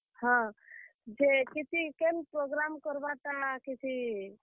ହଁ, ଯେ କିଛି କେନ୍ program କର୍ ବା ଟା କିଛି।